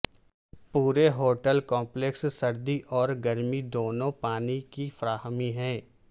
پورے hotel complex سرد اور گرم دونوں پانی کی فراہمی ہے